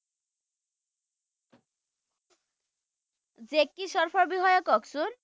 Jackie Shroff বিষয়ে কওকচোন